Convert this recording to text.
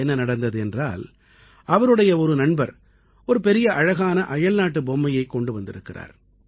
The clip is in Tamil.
என்ன நடந்தது என்றால் அவருடைய ஒரு நண்பர் ஒரு பெரிய அழகான அயல்நாட்டுப் பொம்மையைக் கொண்டு வந்திருக்கிறார்